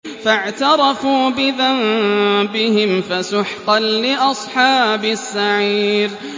فَاعْتَرَفُوا بِذَنبِهِمْ فَسُحْقًا لِّأَصْحَابِ السَّعِيرِ